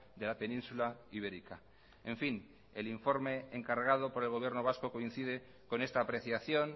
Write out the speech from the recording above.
de la península ibérica en fin el informe encargado por el gobierno vasco coincide con esta apreciación